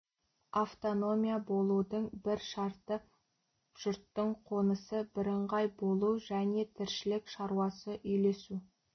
автономия болудың бір шарты жұрттың қонысы бірыңғай болу және тіршілік шаруасы үйлесу